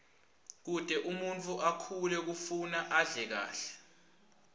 kute umuntfu akhule kufuna adle kahle